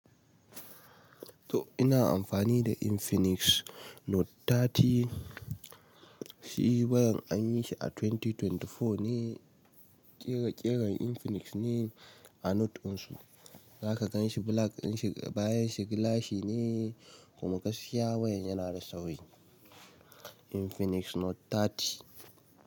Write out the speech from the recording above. To ina amfani da Infinix Note 30, shi bayan an yi shi a 2024 ne, ƙira ƙiran Infinix ne a Note insu, zaka gan shi black dinshi, bayan shi gilashi ne kuma gaskiya wayan yana da sauri Infinix Note 30.